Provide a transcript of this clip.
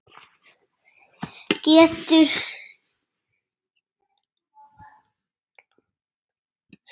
Getur ekki kallað þær fram.